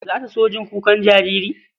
Za ta so jin kukan jariri?